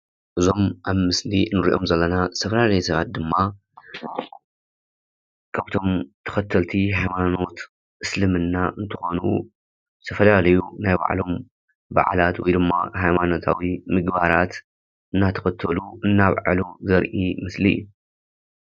እዞሞ ኣብምስል አኒርኦሞ ዘለና ዘተፋላለዩ ሰባት ዲማ ካብቶሞ ተከተልት ሃየማኖቶ አስልመና አኒተኮነ ዘተፋላለዩ ናይ ባዕሎሞ ባላላት ወይ ዲማ ሃይማነታዊ ምግባራት እናተከተሉ አናበዒሉ ዘርእ ምስሊእዩ፡፡